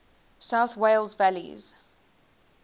south wales valleys